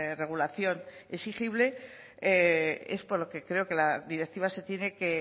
regulación exigible es por lo que creo que la directiva se tiene que